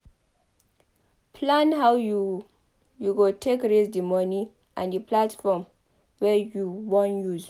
Plan how you go take raise the money and the platform wey you wan use